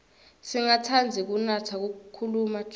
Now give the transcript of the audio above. singatsandzi kunatsa khkhulu tjwala